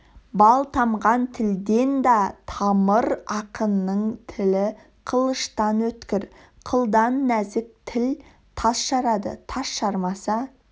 бал тамған тілден да тамар ақынның тілі қылыштан өткір қылдан нәзік тіл тас жарады тас жармаса